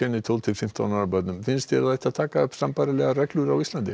tólf til fimmtán ára nemendum finnst þér að það ætti að taka upp þessa reglu á Íslandi